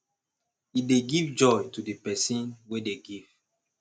e dey give joy to the person wey dey give